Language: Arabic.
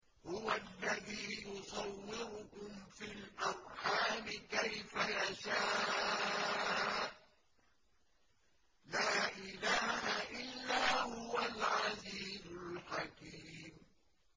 هُوَ الَّذِي يُصَوِّرُكُمْ فِي الْأَرْحَامِ كَيْفَ يَشَاءُ ۚ لَا إِلَٰهَ إِلَّا هُوَ الْعَزِيزُ الْحَكِيمُ